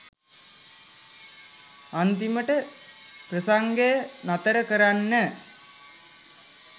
අන්තිමට ප්‍රසංගය නතර කරන්න